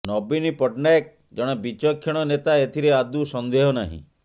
ନବୀନ ପଟ୍ଟନାୟକ ଜଣେ ବିଚକ୍ଷଣ ନେତା ଏଥିରେ ଆଦୌ ସନ୍ଦେହ ନାହିଁ